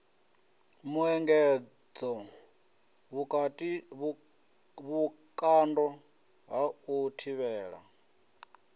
muengedzo vhukando ha u thivhela